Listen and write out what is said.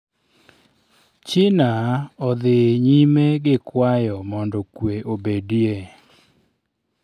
China odhi nyime gi kwayo mondo kwee obedie.